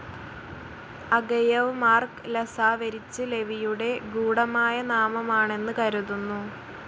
Agayev Mark Lazarevich ലെവിയുടെ ഗൂഡമായ നാമമാണെന്ന് കരുതുന്നു.